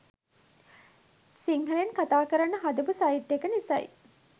සිංහලෙන් කතාකරන්න හදපු සයිට් එක නිසයි.